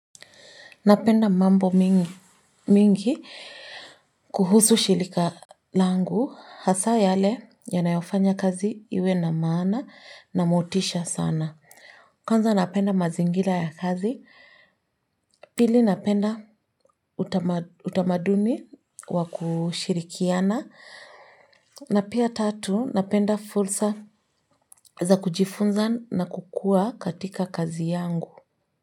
Napenda mambo mingi kuhusu shirika langu hasa yale yanayofanya kazi iwe na maana na motisha sana. Kwanza napenda mazingira ya kazi. Pili napenda utamaduni wa kushirikiana na pia tatu napenda fursa za kujifunza na kukua katika kazi yangu.